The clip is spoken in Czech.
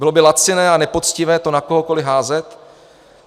Bylo by laciné a nepoctivé to na kohokoli házet.